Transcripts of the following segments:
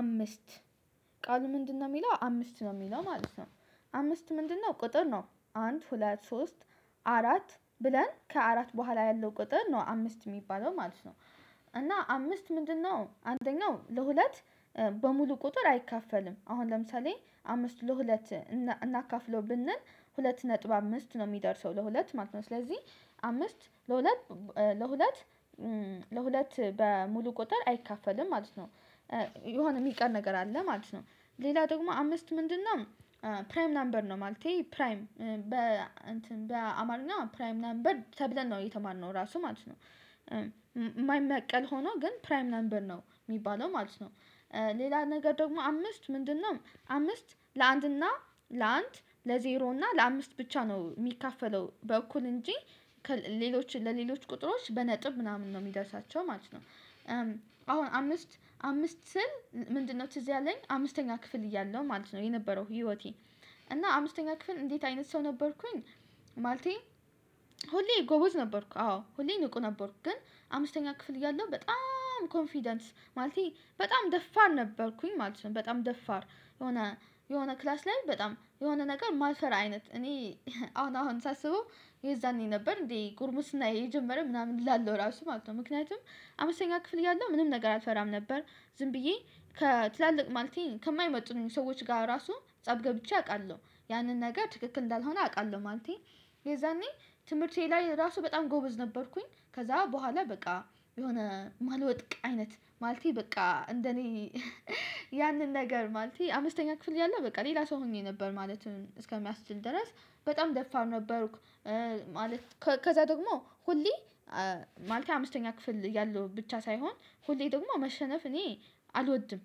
አምስት ቃሉ ምንድነው? የሚለው አምስት ነው የሚለው ማለት ነው። አምስት ምንድነው? ቁጥር ነው አንድ ሁለት ሶስት አራት ብለን ከአራት በኋላ ያለው ቁጥር ነው አምስት የሚባለው ማለት ነው። እና አምስት ምንድነው አንደኛው ለሁለት በሙሉ ቁጥር አይካፈልም። አሁን ለምሳሌ አምስት ለሁለት እናካፍለው ብንል ሁለት ነጥብ አምስት ነው የሚደርሰው ለሁለት ማለት ነው። ስለዚህ አምስት ለሁለት ለሁለት ለሁለት በሙሉ ቁጥር አይካፈልም ማለት ነው። የሆነ የሚቀር ነገር አለ ማለት ነው። ሌላው ደግሞ አምስት ምንድነው? ፕራይም ነምበር ነው ማለቴ ፕራይም በአማርኛ ፕራይም ነበር ተብለን ነው የተማርነው ራሱ ማለት ነው። የማይመቀል ሆኖ ግን ፕራይም ነበር ነው የሚባለው ማለት ነው። ሌላ ነገር ደግሞ አምስት ምንድነው? አምስት ለአንድ እና ለአንድ ለዜሮ እና ለአምስት ብቻ ነው የሚካፈለው በኩል እንጂ ሌሎች ለሌሎች ቁጥሮች በነጥብ ምናምን ነው የሚደርሳቸው ማለት ነው። አሁን አምስት አምስት ስል ምንድነው ትዝ ያለኝ አምስተኛ ክፍል እያለሁ ማለት ነው የነበረው ህይወቴ እና አምስተኛ ክፍል እንዴት አይነት ሰው ነበርኩኝ። ማለቴ ሁሌ ጎበዝ ነበርኩ አዎ ሁሌ ንቁ ነበርኩ ግን አምስተኛ ክፍል እያለሁ በጣም ኮንፊደንስ ማለቴ በጣም ደፋር ነበርኩኝ ማለት ነው። በጣም ደፋር የሆነ የሆነ ክላስ ላይ በጣም የሆነ ነገር ማይፈራ አይነት እኔ አሁን አሁን ሳስበው የዛኔ ነበር እንዴ ጉርምስናዬ የጀመረ ምናምን እላለሁ ራሱ ማለት ነው። ምክንያቱም አምስተኛ ክፍል እያለው ምንም ነገር አልፈራም ነበር ዝም ብዬ ከትላልቅ ማለቴ ከማይመጥኑኝ ሰዎች ጋር ራሱ ፀብ ገብቼ አውቃለሁ። ያንን ነገር ትክክል እንዳልሆነ አውቃለሁ ማለቴ። የዛኔ ትምህርቴ ላይ ራሱ በጣም ጎበዝ ነበርኩኝ። ከዛ በኋላ በቃ የሆነ ማልወድቅ አይነት ማለቴ በቃ እንደኔ ያንን ነገር ማለቴ አምስተኛ ክፍል እያለው በቃ ሌላ ሰው ሆኜ ነበር ማለት እስከሚያስችል ድረስ በጣም ደፋር ነበርኩ። ማለት ከዛ ደግሞ ሁሌ ማለቴ አምስተኛ ክፍል እያለው ብቻ ሳይሆን ሁሌ ደግሞ መሸነፍ እኔ አልወድም።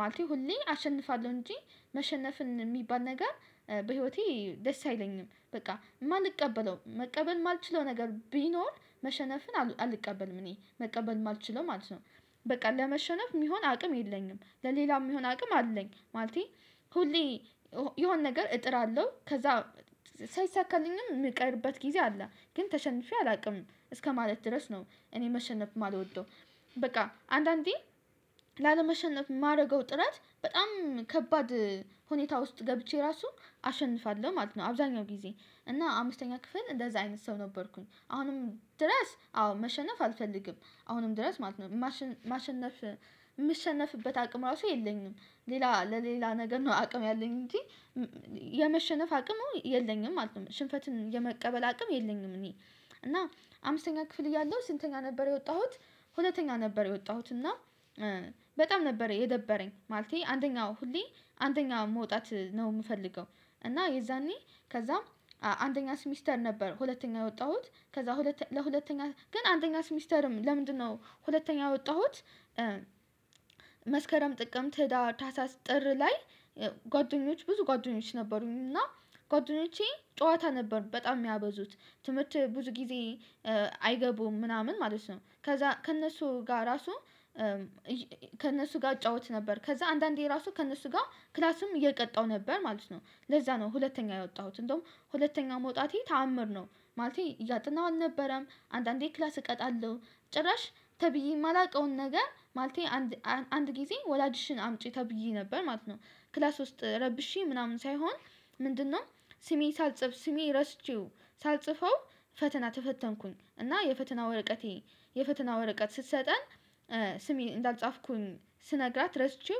ማለቴ ሁሌ አሸንፋለሁ እንጂ መሸነፍን የሚባል ነገር በህይወቴ ደስ አይለኝም በቃ የማንቀበለው መቀበል የማልችለው ነገር ቢኖር መሸነፍን አልቀበልም እኔ መቀበል የማልችለው ማለት ነው። በቃ ለመሸነፍ የሚሆን አቅም የለኝም ለሌላ የሚሆን አቅም አለኝ ማለቴ። ሁሌ የሆነ ነገር እጥራለሁ ከዛ ሳይሳካልኝም የሚቀርበት ጊዜ አለ ግን ተሸንፌ አላቅም እስከማለት ድረስ ነው እኔ መሸነፍ የማልወደው። በቃ አንዳንዴ ላለመሸነፍ የማደርገው ጥረት በጣም ከባድ ሁኔታ ውስጥ ገብቼ ራሱ አሸንፋለሁ ማለት ነው። አብዛኛው ጊዜ እና አምስተኛ ክፍል እንደዛ አይነት ሰው ነበርኩኝ። አሁንም ድረስ አዎ መሸነፍ አልፈልግም አሁንም ድረስ ማለት ነው። ማሸነፍ የምሸነፍበት አቅም ራሱ የለኝም ሌላ ለሌላ ነገር ነው አቅም ያለኝ እንጂ የመሸነፍ አቅሙ የለኝም ማለት ነው። ሽንፈትን የመቀበል አቅም የለኝም እኔ እና አምስተኛ ክፍል እያለሁ ስንተኛ ነበር የወጣሁት። ሁለተኛ ነበር የወጣሁት እና በጣም ነበር የደበረኝ ማለቴ አንደኛ ሁሌ አንደኛ መውጣት ነው የምፈልገው። እና የዛኔ ከዛ አንደኛ ስሚስተር ነበር ሁለተኛ የወጣሁት ከዛ ሁለተኛ ለሁለተኛ ግን አንደኛ ሲሚስተርም ለምንድነው ሁለተኛ የወጣሁት? መስከረም ጥቅምት ህዳር ታህሳስ ጥር ላይ። ጓደኞች ብዙ ጓደኞች ነበሩኝ እና ጓደኞቼ ጨዋታ ነበር በጣም የሚያበዙት ትምህርት ብዙ ጊዜ አይገቡም ምናምን ማለት ነው። ከዛ ከእነሱ ጋር ራሱ ከእነሱ ጋር እጫወት ነበር ከዛ አንዳንዴ ራሱ ከእነሱ ጋር ክላስም እየቀጣው ነበር ማለት ነው። ለዛ ነው ሁለተኛ የወጣሁት እንደውም ሁለተኛ መውጣቴ ተአምር ነው። ማለቴ እያጠናሁ አልነበረም አንዳንዴ ክላስ እቀጣለሁ ጭራሽ ተብዬ የማላውቀውን ነገር ማለቴ። አንድ አንድ ጊዜ ወላጅሽን አምጪ ተብዬ ነበር ማለት ነው። ክላስ ውስጥ ረብሼ ምናምን ሳይሆን ምንድነው ስሜ ሳልጽፍ ስሜ ረስቼው ሳልጽፈው። ፈተና ተፈተንኩኝ እና የፈተና ወረቀቴ የፈተና ወረቀት ስትሰጠን ስሜ እንዳልጻፍኩኝ ስነግራት ረስቼው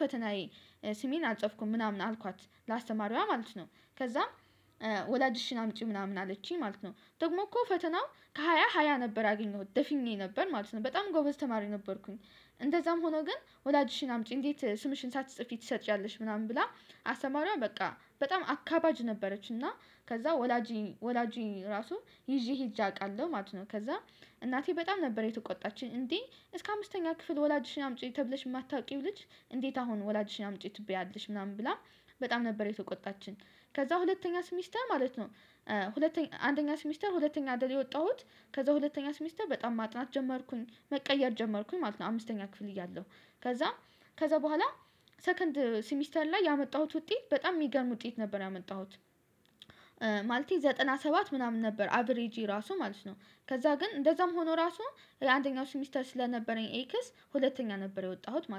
ፈተናዬ ስሜን አልጸፍኩም ምናምን አልኳት ለአስተማሪዋ ማለት ነው። ከዛም ወላጅሽን አምጪ ምናምን አለችኝ ማለት ነው። ደግሞ እኮ ፈተናው ከሃያ ሃያ ነበር ያገኘሁት ደፍኜ ነበር ማለት ነው። በጣም ጎበዝ ተማሪ ነበርኩኝ። እንደዛም ሆኖ ግን ወላጅሽን አምጪ እንዴት ስምሽን ሳትጽፊ ትሰጪያለሽ ምናምን ብላ አስተማሪዋ በቃ በጣም አካባጅ ነበረች። እና ከዛ ወላጄን ወላጄ ራሱ ይዤ ሄጄ አውቃለሁ ማለት ነው። ከዛ እናቴ በጣም ነበር የተቆጣችኝ እንዴ እስከ አምስተኛ ክፍል ወላጅሽን አምጪ ተብለሽ የማታውቂው ልጅ እንዴት አሁን ወላጅሽን አምጪ ትባያለሽ ምናምን ብላ በጣም ነበር የተቆጣችን። ከዛ ሁለተኛስ ሚስተር ማለት ነው። ሁለተኛ አንደኛ ስሚስተር ሁለተኛ አይደል የወጣሁት። ከዛ ሁለተኛ ስሚስተር በጣም ማጥናት ጀመርኩኝ መቀየር ጀመርኩኝ ማለት ነው። አምስተኛ ክፍል እያለሁ ከዛ ከዛ በኋላ ሰከንድ ሲሚስተር ላይ ያመጣሁት ውጤት በጣም የሚገርም ውጤት ነበር ያመጣሁት። ማለቴ ዘጠና ሰባት ምናምን ነበር አቬሬጅ ራሱ ማለት ነው። ከዛ ግን እንደዛም ሆኖ ራሱ የአንደኛው ስሚስተር ስለነበረኝ ኤክስ ሁለተኛ ነበር የወጣሁት ማለት ነው